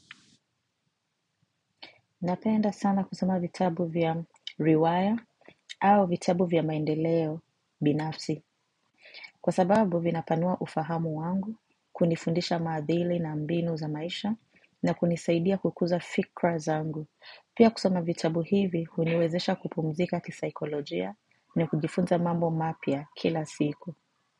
Napenda sana kusoma vitabu vya riwaya au vitabu vya maendeleo binafsi. Kwa sababu vina panua ufahamu wangu, kunifundisha madhili na mbinu za maisha na kunisaidia kukuza fikra zangu. Pia kusoma vitabu hivi, huniwezesha kupumzika kisaikolojia ni kujifunza mambo mapya kila siku.